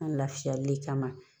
An lafiyali kama